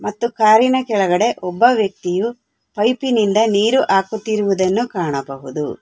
ಮತ್ತು ಕಾರಿನ ಕೆಳಗಡೆ ಒಬ್ಬ ವ್ಯಕ್ತಿಯು ಪೈಪಿ ನಿಂದ ನೀರು ಹಾಕುತ್ತಿರುವುದನ್ನು ಕಾಣಬಹುದು.